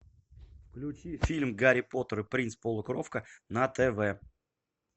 включи фильм гарри поттер и принц полукровка на тв